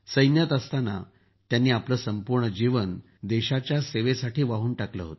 सैन्यात असताना त्यांनी आपलं जीवन देशाच्या सेवेसाठी वाहून टाकलं